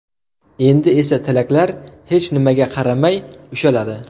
Endi esa tilaklar hech nimaga qaramay ushaladi.